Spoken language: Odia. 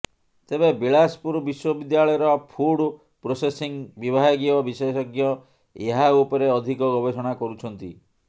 ତେବେ ବିଳାସପୁର ବିଶ୍ୱବିଦ୍ୟାଳୟର ଫୁଡ୍ ପ୍ରୋସେସିଙ୍ଗ୍ ବିଭାଗୀୟ ବିଶେଷଜ୍ଞ ଏହା ଉପରେ ଅଧିକ ଗବେଷଣା କରୁଛନ୍ତି